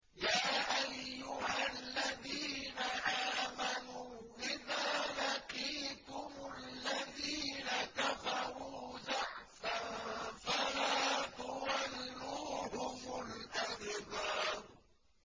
يَا أَيُّهَا الَّذِينَ آمَنُوا إِذَا لَقِيتُمُ الَّذِينَ كَفَرُوا زَحْفًا فَلَا تُوَلُّوهُمُ الْأَدْبَارَ